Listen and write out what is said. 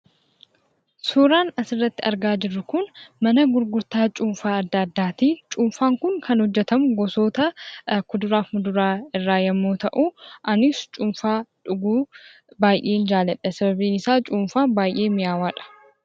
Suuraan asirratti argaa jirru kun mana gurgurtaa cuunfaa adda addaati. Cuunfaan kun hojjetamu gosoota kuduraa fi muduraa adda addaa irraa yemmuu ta'u, anis cuunfaa dhuguu baay'een jaalladha. Sababiin isaa cuunfaan baay'ee miyaawaadha.